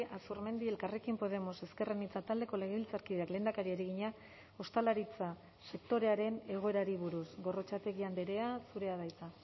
azurmendi elkarrekin podemos ezker anitza taldeko legebiltzarkideak lehendakariari egina ostalaritza sektorearen egoerari buruz gorrotxategi andrea zurea da hitza